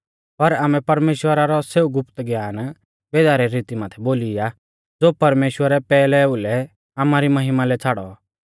पर आमै परमेश्‍वरा रौ सेऊ गुप्त ज्ञान भेदा री रीती माथै बोली आ ज़ो परमेश्‍वरै पैहला ओउलै आमारी महिमा लै छ़ाड़ौ